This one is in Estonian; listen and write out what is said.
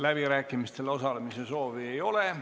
Läbirääkimistel osalemise soovi ei ole.